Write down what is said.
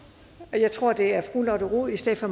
og jeg tror at det er fru lotte rod i stedet for